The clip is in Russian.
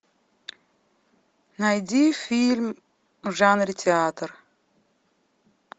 найди фильм в жанре театр